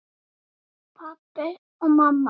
Pabbi og mamma.